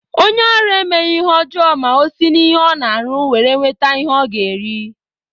Onye ọrụ emeghi ihe ọjọọ ma o si n'ihe Ọ na-arụ were nweta ihe Ọ ga-eri.